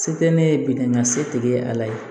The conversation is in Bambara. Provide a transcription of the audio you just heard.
Se tɛ ne ye bidanga setigi ye ala ye